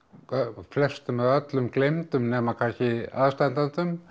flestum eða öllum gleymdir nema kannski aðstandendum